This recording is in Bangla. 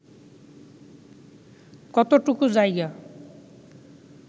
কতটুকু জায়গা